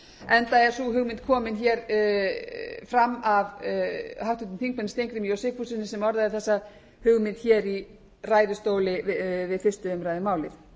enda er sú hugmynd komin hér fram af háttvirtum þingmönnum steingrími sigfússyni sem orðaði þessa hugmynd hér í ræðustóli við fyrstu